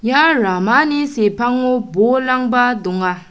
ia ramani sepango bolrangba donga.